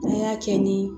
N'an y'a kɛ ni